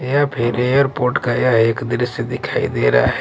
या फिर एयरपोर्ट का यह एक दृश्य दिखाई दे रहा है।